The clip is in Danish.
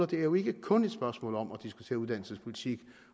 det er jo ikke kun et spørgsmål om at diskutere uddannelsespolitik